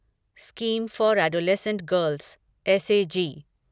scheme for adolescent girls SAG